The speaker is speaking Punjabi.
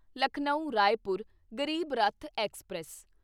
ਲਖਨਊ ਰਾਏਪੁਰ ਗਰੀਬ ਰੱਥ ਐਕਸਪ੍ਰੈਸ